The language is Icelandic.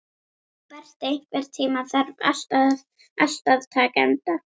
Berti, einhvern tímann þarf allt að taka enda.